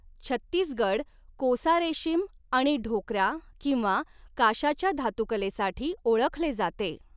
छत्तीसगड 'कोसा रेशीम' आणि 'ढोक्रा' किंवा 'काश्याच्या धातुकले'साठी ओळखले जाते.